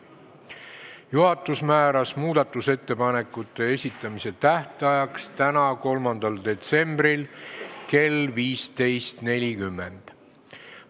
Juhatus määras, et muudatusettepanekute esitamise tähtaeg on täna, 3. detsembril kell 15.40.